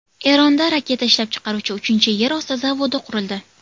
Eronda raketa ishlab chiqaruvchi uchinchi yer osti zavodi qurildi.